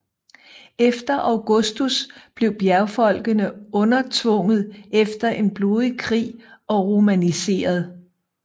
Under Augustus blev bjergfolkene undertvunget efter en blodig krig og romaniseret